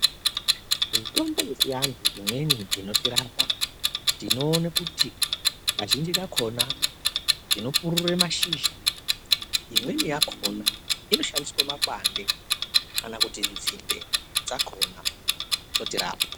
Mitombo yechianhu imweni inotirapa ,tinoone kuti kazhinji kakhona, tinopurure mashizha , imweni yakhona inoshandiswe makwande, kana kuti nzinde dzakhona dzotirapa.